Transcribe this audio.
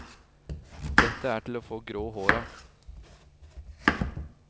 Dette er til å få grå hår av.